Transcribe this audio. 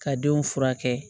Ka denw furakɛ